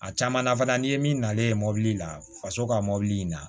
A caman na fana n'i ye min nalen mɔbili la faso ka mɔbili in na